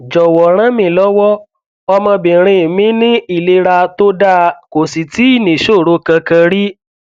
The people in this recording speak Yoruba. jọwọ rànmílọwọ ọmọbìnrin mi ní ìlera tó dáa kò sì tíì níṣòro kankan rí